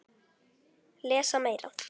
Lesa meira.